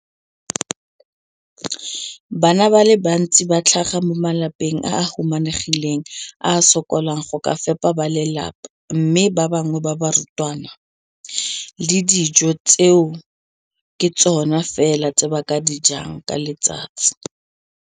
Bana ba le bantsi ba tlhaga mo malapeng a a humanegileng a a sokolang go ka fepa ba lelapa mme ba bangwe ba barutwana, dijo tseo ke tsona fela tse ba di jang ka letsatsi.